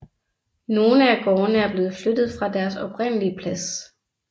Nogle af gårdene er blevet flyttet fra deres oprindelig plads